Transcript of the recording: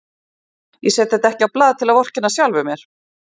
Ég set þetta ekki á blað til að vorkenna sjálfum mér.